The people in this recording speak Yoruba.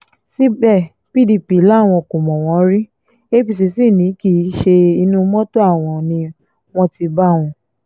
síbẹ̀ pdp làwọn kò mọ̀ wọ́n rí apc sí ni kí ṣe inú mọ́tò àwọn ni wọ́n ti bá wọn